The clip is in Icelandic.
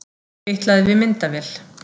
Fitlaði við myndavél